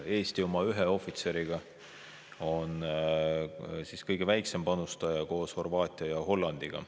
Eesti oma ühe ohvitseriga on kõige väiksem panustaja koos Horvaatia ja Hollandiga.